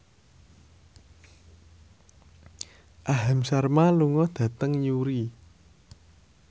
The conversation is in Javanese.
Aham Sharma lunga dhateng Newry